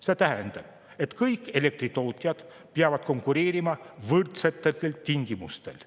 See tähendab, et kõik elektritootjad peavad konkureerima võrdsetel tingimustel.